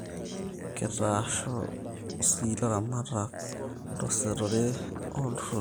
Kitaasho si ilaramatak tesetore oo iltururi